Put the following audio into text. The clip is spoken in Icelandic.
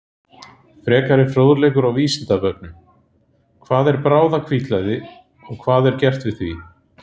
Frekari fróðleikur á Vísindavefnum: Hvað er bráðahvítblæði og hvað er gert við því?